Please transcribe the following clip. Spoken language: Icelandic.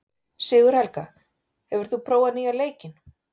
Sigurhelga, hefur þú prófað nýja leikinn?